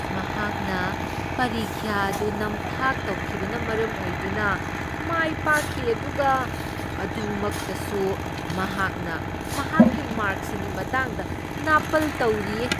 ꯃꯍꯥꯛꯅ ꯄꯔꯤꯈ꯭ꯌꯥ ꯑꯗꯨ ꯅꯝꯊꯥꯛ ꯇꯧꯈꯤꯕꯅ ꯃꯔꯝ ꯑꯣꯏꯗꯨꯅ ꯃꯥꯏ ꯄꯥꯛꯈꯤ ꯑꯗꯨꯒ ꯃꯗꯨꯃꯛꯇꯁꯨ ꯃꯍꯥꯛꯅ ꯃꯍꯥꯛꯀꯤ ꯃꯥꯔꯛꯁꯤꯡꯒꯤ ꯃꯇꯥꯡꯗ ꯅꯥꯄꯜ ꯇꯧꯔꯤꯌꯦ꯫